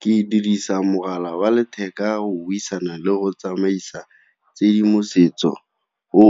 Ke dirisa mogala wa letheka go buisana le go tsamaisa tshedimosetso, o